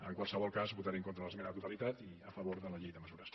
en qualsevol cas votaré en contra de l’esmena a la totalitat i a favor de la llei de mesures